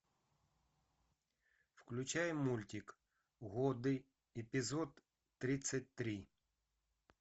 включай мультик годы эпизод тридцать три